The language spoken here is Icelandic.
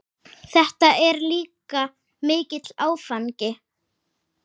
Það er líka mikill áfangi.